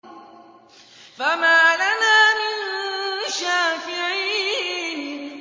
فَمَا لَنَا مِن شَافِعِينَ